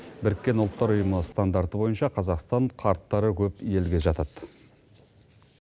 біріккен ұлттар ұйымы стандарты бойынша қазақстан қарттары көп елге жатады